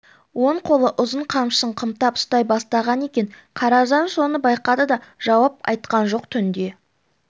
оң қолы ұзын қамшысын қымтып ұстай бастаған екен қаражан соны байқады да жауап айтқан жоқ түнде